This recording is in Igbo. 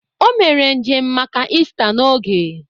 O mere njem maka Ista n'oge